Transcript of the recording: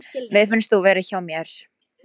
Mér finnst þú vera hjá mér.